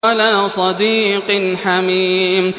وَلَا صَدِيقٍ حَمِيمٍ